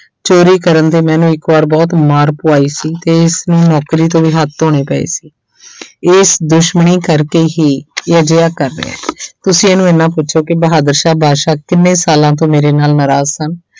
ਚੋਰੀ ਕਰਨ ਤੇ ਮੈਂ ਇਹਨੂੰ ਇੱਕ ਵਾਰ ਬਹੁਤ ਮਾਰ ਪਵਾਈ ਸੀ ਤੇ ਇਸਨੂੰ ਨੌਕਰੀ ਤੋਂ ਵੀ ਹੱਥ ਧੋਣੇ ਪਏ ਸੀ ਇਸ ਦੁਸ਼ਮਣੀ ਕਰਕੇ ਹੀ ਇਹ ਅਜਿਹਾ ਕਰ ਰਿਹਾ ਹੈ ਤੁਸੀਂ ਇਹਨੂੰ ਇੰਨਾ ਪੁੱਛੋ ਕਿ ਬਹਾਦਰ ਸ਼ਾਹ ਬਾਦਸ਼ਾਹ ਕਿੰਨੇ ਸਾਲਾਂ ਤੋਂ ਮੇਰੇ ਨਾਲ ਨਾਰਾਜ਼ ਸਨ।